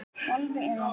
golfi eða veiði.